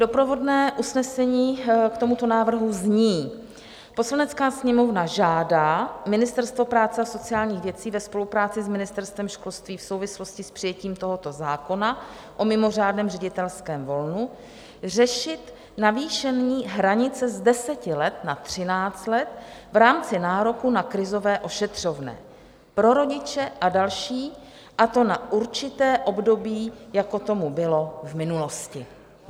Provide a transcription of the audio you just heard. Doprovodné usnesení k tomuto návrhu zní: "Poslanecká sněmovna žádá Ministerstvo práce a sociálních věcí ve spolupráci s Ministerstvem školství v souvislosti s přijetím tohoto zákona o mimořádném ředitelském volnu řešit navýšení hranice z 10 let na 13 let v rámci nároku na krizové ošetřovné pro rodiče a další, a to na určité období, jako tomu bylo v minulosti."